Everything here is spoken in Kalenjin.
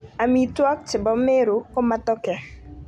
Amitwokik che bo Meru ko Matoke.